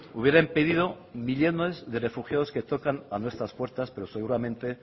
hubiera impedido millónes de refugiados que tocan a nuestras puertas pero seguramente